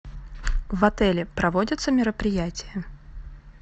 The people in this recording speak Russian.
в отеле проводятся мероприятия